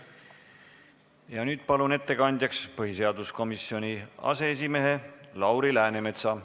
Nüüd palun ettekandjaks põhiseaduskomisjoni aseesimehe Lauri Läänemetsa.